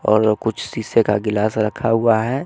और व कुछ शीशे का गिलास रखा हुआ है।